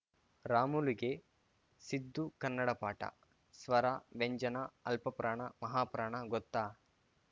ರಾಮುಲುಗೆ ಸಿದ್ದು ಕನ್ನಡ ಪಾಠ ಸ್ವರ ವ್ಯಂಜನ ಅಲ್ಪಪ್ರಾಣ ಮಹಾಪ್ರಾಣ ಗೊತ್ತಾ